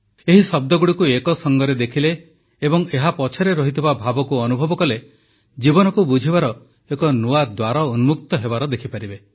ଏହି ଶବ୍ଦଗୁଡ଼ିକୁ ଏକସଙ୍ଗରେ ଦେଖିଲେ ଏବଂ ଏହାପଛରେ ଥିବା ଭାବକୁ ଅନୁଭବ କଲେ ଜୀବନକୁ ବୁଝିବାର ଏକ ନୂଆ ଦ୍ୱାର ଉନ୍ମୁକ୍ତ ହେବାର ଦେଖିପାରିବେ